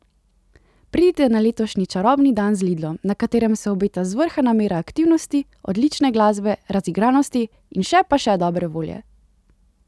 Pridite na letošnji Čarobni dan z Lidlom, na katerem se obeta zvrhana mera aktivnosti, odlične glasbe, razigranosti in še pa še dobre volje!